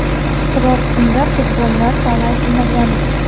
Biroq unda qurbonlar soni aytilmagandi.